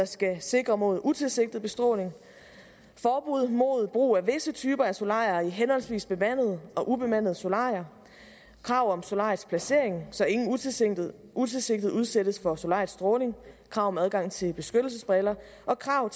skal sikre mod utilsigtet bestråling forbud mod brug af visse typer af solarier i henholdsvis bemandede og ubemandede solarier krav om solariets placering så ingen utilsigtet utilsigtet udsættes for solariets stråling krav om adgang til beskyttelsesbriller og krav